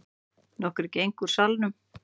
Nokkrir gengu úr salnum.